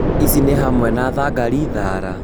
Ici nĩ hamwe na thangari, thara